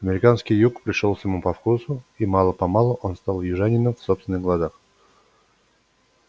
американский юг пришёлся ему по вкусу и мало-помалу он стал южанином в собственных глазах